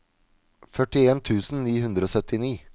førtien tusen ni hundre og syttini